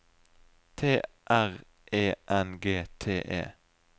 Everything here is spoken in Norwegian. T R E N G T E